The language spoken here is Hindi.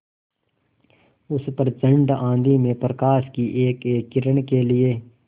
उस प्रचंड आँधी में प्रकाश की एकएक किरण के लिए